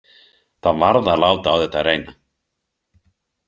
Það varð að láta á þetta reyna.